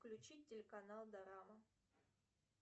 включить телеканал дорама